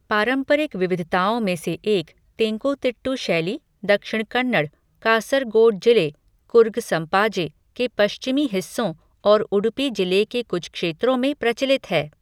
पारंपरिक विविधताओं में से एक, तेंकुतिट्टु शैली, दक्षिण कन्नड़, कासरगोड जिले, कुर्ग संपाजे, के पश्चिमी हिस्सों और उडुपी जिले के कुछ क्षेत्रों में प्रचलित है।